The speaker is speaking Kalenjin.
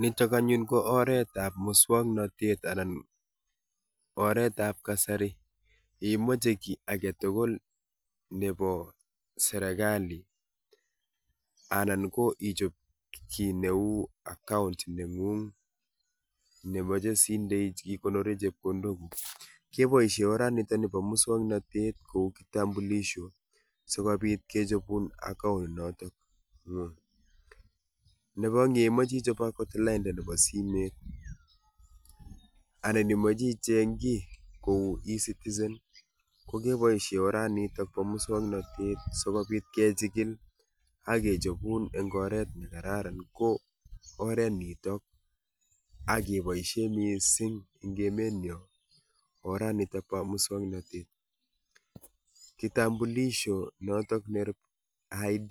Nitok anyun ko oret ab muswoknotet anan oretab kasari. Yeimache kiy age tugul nebo serekali anan ko ichob kiy neu account neng'ung nemache sindech igonorei chepkondok guuk, keboisie oranitok ni nebo muswoknotet kou kitambulisho sigobit kechobun account notok ng'ung. Nebo ngimache ichob akot lainda nebo simet anan imache icheng kiy kou E-Citizen kogeboishe oranitok bo muswoknotet sokobit kechikil ak kechobun eng' oret ne kararan, ko oret nitok akiboisie missing eng' emet nyo oranitok bo muswoknotet. Kitambulisho notok ne [ID]